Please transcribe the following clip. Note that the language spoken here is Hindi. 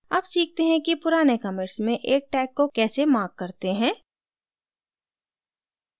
अब सीखते हैं कि पुराने commits में एक tag को कैसे mark करते हैं